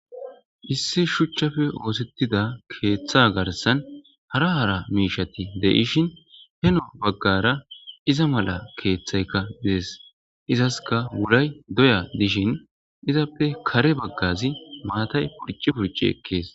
issi shuchchafe oosettida keeththa garsan hara hara miishshati de'ishin heno baggara iza mala keeththaykka dees izaskka wulay doya dishin izappe kare baggazi mattay purci purci ekees